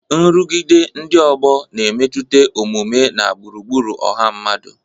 Nrụgide ndị ọgbọ na-emetụta omume na gburugburu ọha mmadụ.